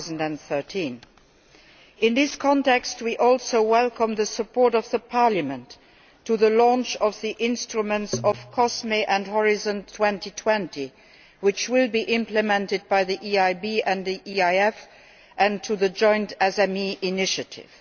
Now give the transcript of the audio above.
2013. In this context, we also welcome the support of Parliament for the launch of the instruments of COSME and Horizon 2020, which will be implemented by the EIB and EIF, and for the joint SME initiative.